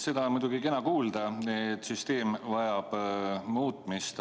Seda on muidugi kena kuulda, et süsteem vajab muutmist.